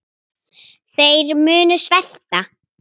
Þeir munu svelta.